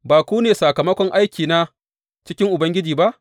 Ba ku ne sakamakon aikina cikin Ubangiji ba?